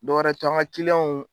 Dɔwɛrɛ tɛ an ga kiliyanw